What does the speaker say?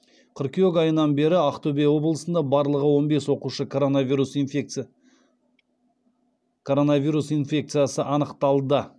қыркүйек айынан бері ақтөбе облысында барлығы он бес оқушы коронавирус инфекциясы анықталды